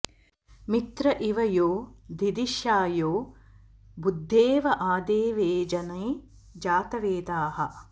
मि॒त्र इ॑व॒ यो दि॑धि॒षाय्यो॒ भूद्दे॒व आदे॑वे॒ जने॑ जा॒तवे॑दाः